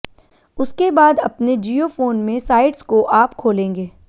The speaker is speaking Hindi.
उसके बाद अपने जियो फोन में इन साइट्स को आप खोलेंगे